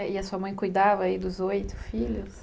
E a sua mãe cuidava dos oito filhos?